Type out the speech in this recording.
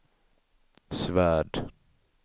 Svärd